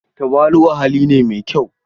Tawali'u hali ne mai kyau.